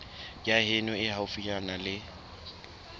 ya heno e haufinyana ya